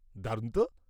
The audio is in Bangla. -দারুণ তো!